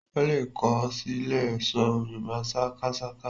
Ó lè kọ ó sì lè ṣọ Yorùbá sákásáká